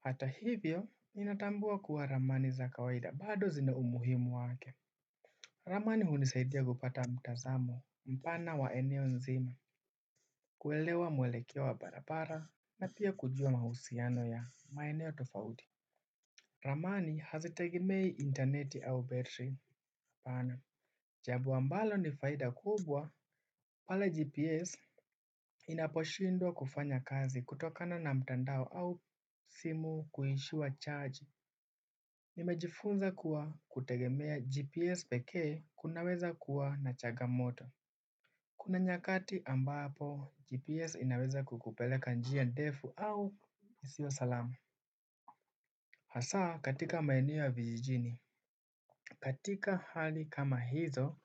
Hata hivyo inatambua kuwa ramani za kawaida bado zina umuhimu wake. Ramani hunisaidia kupata mtazamo mpana wa eneo nzima. Kuelewa mwelekeo wa barabara na pia kujua mahusiano ya maeneo tofauti. Ramani hazitegemei interneti au battery panel jambo ambalo ni faida kubwa Pale GPS inaposhindwa kufanya kazi kutokana na mtandao au simu kuishiwa charge. Nimejifunza kuwa kutegemea GPS pekee kunaweza kuwa na changamoto. Kuna nyakati ambapo GPS inaweza kukupeleka njia ndefu au isio salama. Hasaa katika maeneo ya vijijini. Katika hali kama hizo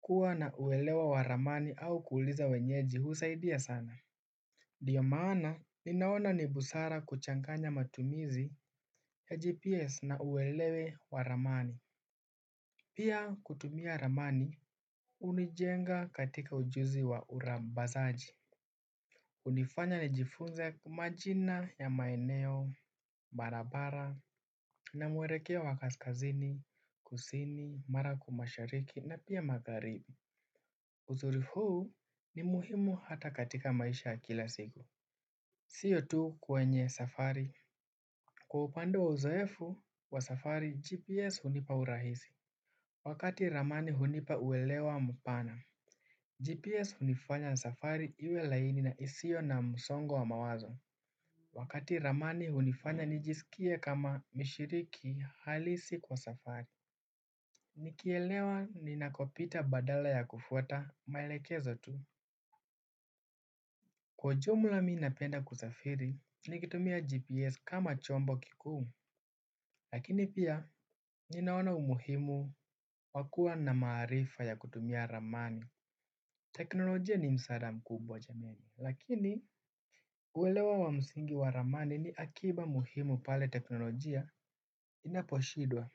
kuwa na uelewa wa ramani au kuuliza wenyeji husaidia sana ndiyo maana ninaona ni busara kuchanganya matumizi ya GPS na uelewa wa ramani. Pia kutumia ramani hunijenga katika ujuzi wa uzambazaji. Hunifanya nijifunze majina ya maeneo, barabara, na muelekeo wa kaskazini, kusini, mara kwa mashariki na pia magharibi. Uzuri huu ni muhimu hata katika maisha ya kila siku siyo tu kwenye safari kwa upande wa uzoefu wa safari GPS hunipa urahisi. Wakati ramani hunipa uelewa mpana GPS hunifanya safari iwe laini na isio na msongo wa mawazo. Wakati ramani hunifanya nijisikie kama mshiriki halisi kwa safari. Nikielewa ninakopita badala ya kufuata maelekezo tu. Kwa ujumla mi napenda kusafiri nikitumia GPS kama chombo kikuu. Lakini pia ninaona umuhimu wa kua na maarifa ya kutumia ramani. Teknolojia ni msaada mkubwa jamani. Lakini uelewa wa msingi wa ramani ni akiba muhimu pale teknolojia Inaposhindwa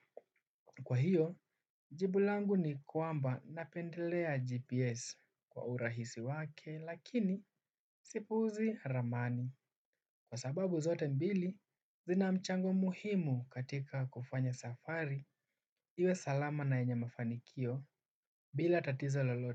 Kwa hiyo jibu langu ni kwamba napendelea GPS kwa urahisi wake lakini sipuuzi ramani. Kwa sababu zote mbili zina mchango muhimu katika kufanya safari iwe salama na yenye mafanikio bila tatizo lolote.